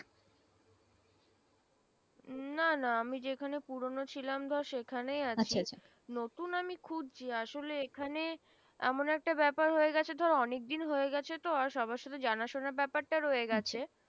উম না না আমি যেখানে পুরোনো ছিলাম ধর সেখানেই আছি নতুন আমি খুঁজছি আসলে এখানে এমন একটা ব্যাপার হয়ে গেছে অনেক দিন হয়ে গেছে তো আর সবার সাথে জানা শোনা ব্যাপার টা রয়ে গেছে